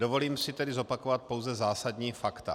Dovolím se tedy zopakovat pouze zásadní fakta.